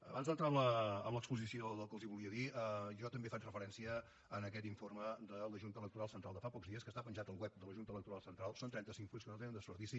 abans d’entrar en l’exposició del que els volia dir jo també faig referència a aquest informe de la junta electoral central de fa pocs dies que està penjat al web de la junta electoral central són trenta cinc fulls que no tenen desperdici